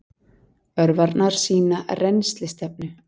Örvarnar sýna rennslisstefnu.